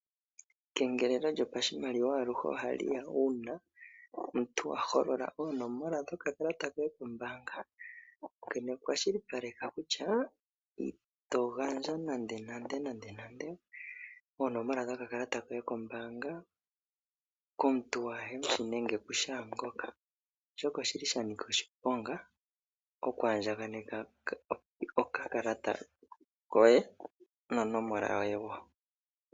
Ekengelelo lyopashimaliwa aluhe ohaliya uuna omuntu aholola oonomola dhoye dho kakalata koye kombaanga ano kwashilipaleka kutya ito gandja nande nande oonomola dho kakalata koye kombaanga komuntu ku hemushi nenge ku kehe ngoka oshoka oshili sha nika oshiponga oku andjaneka okakalata koye nonomola yoye woo.